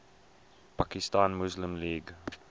pakistan muslim league